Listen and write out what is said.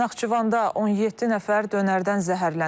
Naxçıvanda 17 nəfər dönərdən zəhərlənib.